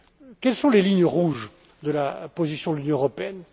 Quelles sont les lignes rouges de la position de l'Union européenne?